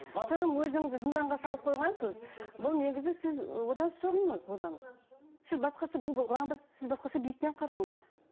тым өзіңді зынданға салып қойғансыз бұл негізі сіз одан шығыңыз бұдан сіз басқаша бұл сіз басқаша биіктен қараңыз